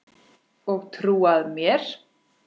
Og trúað mér!